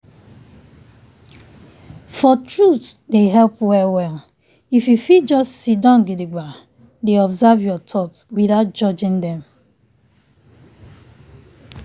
for truthe dey help well well if you fit just siddon gidigba dey observe your thoughts without judging dem.